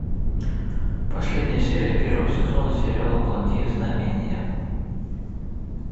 последняя серия первого сезона сериала благие знамения